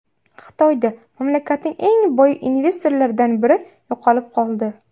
Xitoyda mamlakatning eng boy investorlaridan biri yo‘qolib qoldi.